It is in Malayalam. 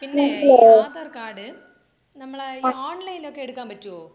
പിന്നെ ഈ ആധാർ കാർഡ് നമ്മളെ ഈ ഓൺലൈൻ ഒക്കെ എടുക്കാൻ പറ്റോ?